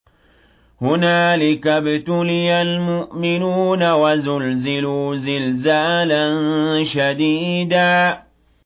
هُنَالِكَ ابْتُلِيَ الْمُؤْمِنُونَ وَزُلْزِلُوا زِلْزَالًا شَدِيدًا